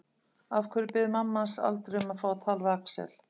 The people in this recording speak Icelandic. Af hverju biður mamma hans aldrei um að fá að tala við Axel?